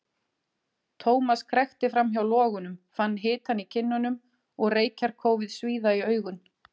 Thomas krækti fram hjá logunum, fann hitann í kinnunum og reykjarkófið svíða í augun.